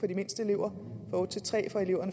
de mindste elever